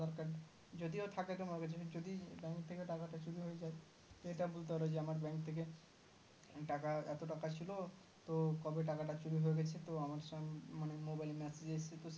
যদিও থাকে তোমার কাছে যদি bank থেকে টাকাটা চুরি হয়ে যায় সেটা বুজতে পারবে যে আমার bank থেকে টাকা এত টাকা ছিল তো কবে টাকাটা চুরি হয়ে গেছে তো আমার sir mobile এ message এসেছে তো sir